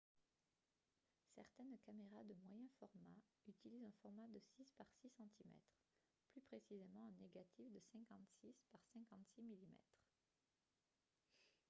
certaines caméras de moyen format utilisent un format de 6 par 6 cm plus précisément un négatif de 56 par 56 mm